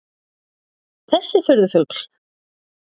Þessi furðufugl?